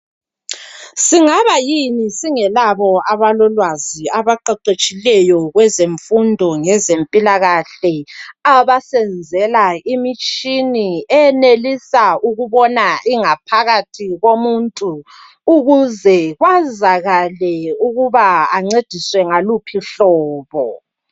Singabayini singelabo abalolwazi abaqeqetshileyo kwezemfundo ngezempilakahle, abasenzela imitshini enelisa ukubona ingaphakathi komuntu, ukuze kwazakale ukuba ancediswe ngaluphi uhlobo.